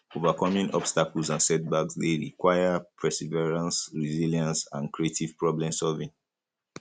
overcoming obstacles and setbacks dey require perseverance resilience and creative problemsolving